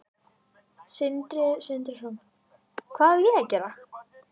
Sindri Sindrason: Hvað á að gera?